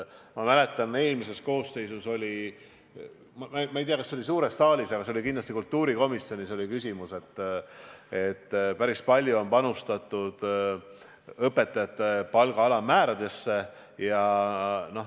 Ma mäletan, eelmises koosseisus oli küsimus – ma ei tea, kas see suurde saali jõudis, aga kindlasti arutati kultuurikomisjonis –, et päris palju on panustatud õpetajate palga alammäära tõstmisesse.